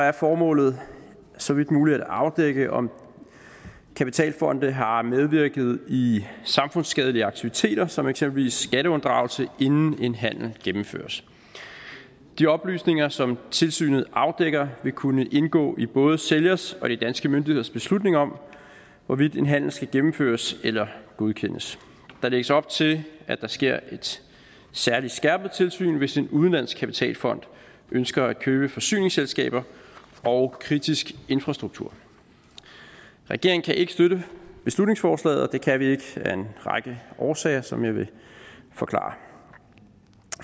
er formålet så vidt muligt at afdække om kapitalfonde har medvirket i samfundsskadelige aktiviteter som eksempelvis skatteunddragelse inden en handel gennemføres de oplysninger som tilsynet afdækker vil kunne indgå i både sælgers og i danske myndigheders beslutning om hvorvidt en handel skal gennemføres eller godkendes der lægges op til at der sker et særlig skærpet tilsyn hvis en udenlandsk kapitalfond ønsker at købe forsyningsselskaber og kritisk infrastruktur regeringen kan ikke støtte beslutningsforslaget og det kan vi ikke af en række årsager som jeg vil forklare